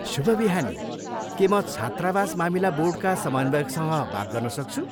शुभ बिहानी, के म छात्रावास मामिला बोर्डका समन्वयकसँग बात गर्न सक्छु?